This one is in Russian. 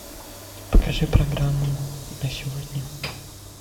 покажи программу на сегодня